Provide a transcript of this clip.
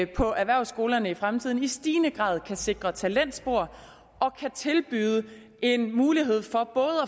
på erhvervsskolerne i fremtiden i stigende grad kan sikre talentspor og kan tilbyde en mulighed